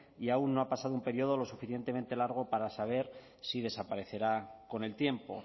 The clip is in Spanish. y aún no ha pasado un período lo suficientemente largo para saber si desaparecerá con el tiempo